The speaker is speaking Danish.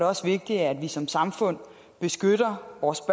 også vigtigt at vi som samfund beskytter vores